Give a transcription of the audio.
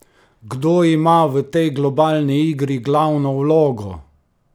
Kdo ima v tej globalni igri glavno vlogo?